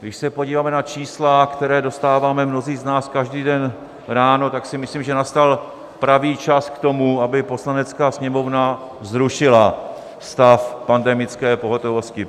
Když se podíváme na čísla, která dostáváme mnozí z nás každý den ráno, tak si myslím, že nastal pravý čas k tomu, aby Poslanecká sněmovna zrušila stav pandemické pohotovosti.